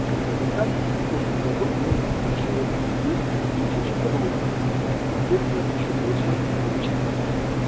и как результат прошлом году мы недополучили двести тысяч родов а соответственно ещё большее количество детей